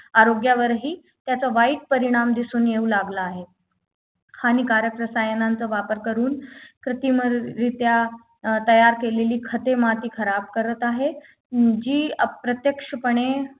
आरोग्यवराही त्याचा वाईट परिणाम दिसू लागला आहे हानिकारक रसायनांचा वापर करून कृत्रिम रित्या अं तयार केलेली खते माती खराब करत आहेत अं जी अप्रत्यक्षपणे